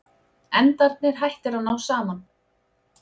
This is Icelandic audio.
Endarnir hættir að ná saman.